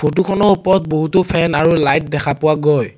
photo খনৰ ওপৰত বহুতো ফেন আৰু লাইট দেখা পোৱা গৈ --